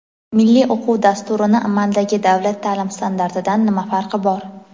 Milliy o‘quv dasturini amaldagi davlat taʼlim standartidan nima farqi bor?.